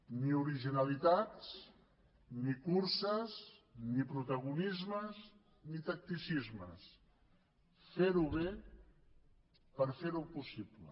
ni originalitats ni curses ni protagonismes ni tacticismes ferho bé per ferho possible